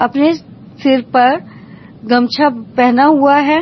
अपने सिर पर गमछा पहना हुआ है।